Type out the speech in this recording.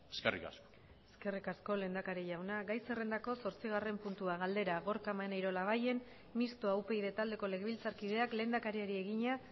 eskerrik asko eskerrik asko lehendakari jauna gai zerrendako zortzigarren puntua galdera gorka maneiro labayen mistoa upyd taldeko legebiltzarkideak lehendakariari egina